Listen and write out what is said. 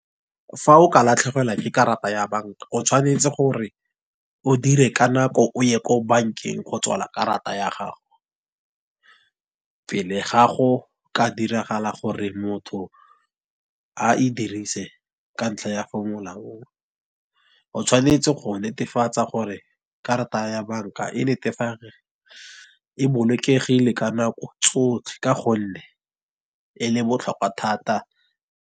Fa o ka latlhegelwa ke karata ya banka, o tshwanetse gore, o dire ka nako o ye ko bankeng, go tswala karata ya gago. Pele ga go ka diragala gore motho a e dirise, ka ntlha ya o tshwanetse go netefatsa gore karata ya banka e bolokegile ka nako tsotlhe ka gonne e le botlhokwa thata.